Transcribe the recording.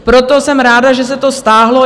Proto jsem ráda, že se to stáhlo.